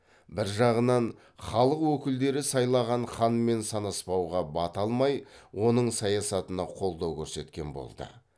бір жағынан халық өкілдері сайлаған ханмен санаспауға бата алмай оның саясатына қолдау көрсеткен болды